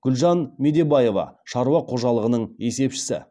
гүлжан медебаева шаруа қожалығының есепшісі